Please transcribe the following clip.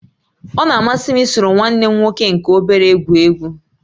Ọ na-amasị m isoro nwanne m nwoke nke obere egwu egwu